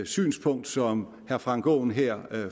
synspunkt som herre frank aaen her